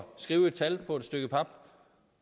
sige